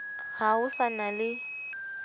ha ho sa na le